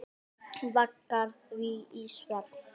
Vaggar því í svefn.